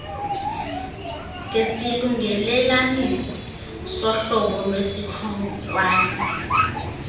ngesilungelelanisi sohlobo lwesikhonkwane